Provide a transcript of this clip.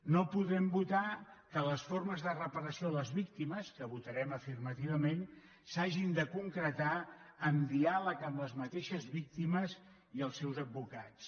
no podrem votar que les formes de reparació a les víctimes que votarem afirmativament s’hagin de concretar en diàleg amb les mateixes víctimes i els seus advocats